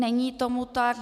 Není tomu tak.